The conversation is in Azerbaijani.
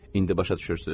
İndi başa düşürsüz?